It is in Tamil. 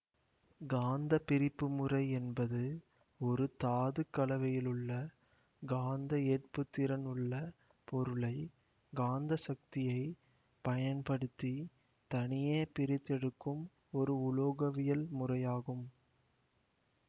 காந்த பிரிப்பு முறை என்பது ஒரு தாதுக் கலவையிலுள்ள காந்த ஏற்புத்திறன் உள்ள பொருளை காந்த சக்தியை பயன்படுத்தி தனியே பிரித்தெடுக்கும் ஒரு உலோகவியல் முறையாகும்